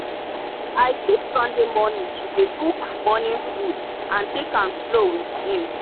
i keep sunday morning to dey cook morning food and take am slow with him.